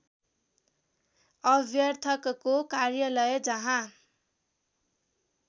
अभ्यर्थकको कार्यालय जहाँ